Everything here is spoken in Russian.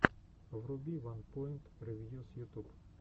вруби ванпоинт ревьюс ютуб